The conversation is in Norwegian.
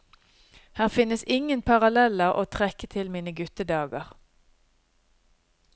Her finnes ingen paralleller å trekke til mine guttedager.